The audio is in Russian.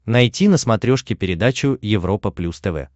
найти на смотрешке передачу европа плюс тв